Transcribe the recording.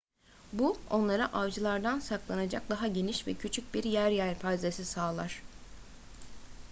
bu onlara avcılardan saklanacak daha geniş ve küçük bir yer yelpazesi sağlar